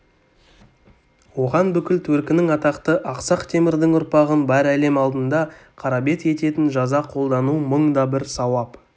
оған бүкіл төркінін атақты ақсақ темірдің ұрпағын бар әлем алдында қарабет ететін жаза қолдану мың да бір сауап